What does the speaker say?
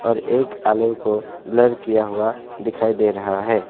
एक आलू को ब्लर किया हुआ दिखाई दे रहा है।